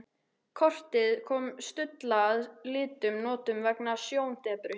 Kortið kom Stulla að litlum notum vegna sjóndepru.